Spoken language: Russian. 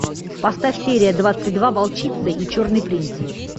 поставь серия двадцать два волчица и черный принц